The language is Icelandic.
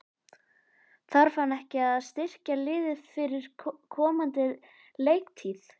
Þarf hann ekki að styrkja liðið fyrir komandi leiktíð?